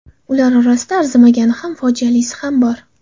Ular orasida arzimagani ham, fojialisi ham bor.